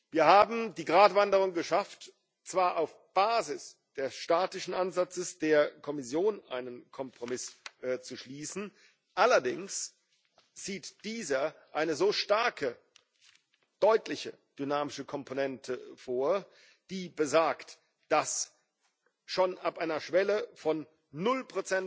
Wir haben die Gratwanderung geschafft, zwar auf Basis des statistischen Ansatzes der Kommission einen Kompromiss zu schließen, allerdings sieht dieser eine starke und deutliche dynamische Komponente vor, die besagt, dass schon ab einer Schwelle von 0